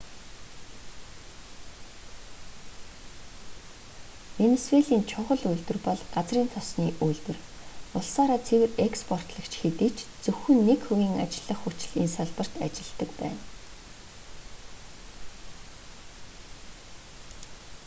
венисуелийн чухал үйлдвэр бол газрын тосны үйлдвэр улсаараа цэвэр експортлогч хэдий ч зөвхөн нэг хувийн ажиллах хүч л энэ салбарт ажилладаг байна